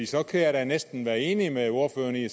så kan jeg jo næsten også være enig med ordføreren i det